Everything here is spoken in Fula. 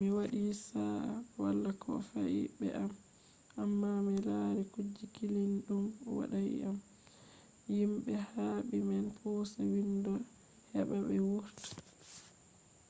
mi waɗi sa’a wala ko fe’i be am amma mi lari kuje kilniiɗum woɗais am himɓe habdi ɓe pusa windo heɓa ɓe wurta